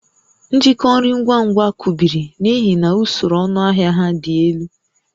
Njikọ nri ngwa ngwa kụbiri n'ihi na usoro ọnụahịa ha dị elu